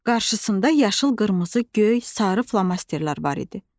Qarşısında yaşıl, qırmızı, göy, sarı flomasterlər var idi.